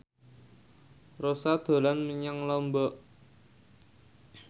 Rossa dolan menyang Lombok